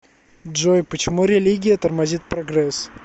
джой почему религия тормозит прогресс